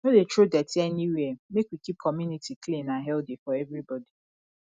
no dey throw dirty anywhere make we keep community clean and healthy for everybody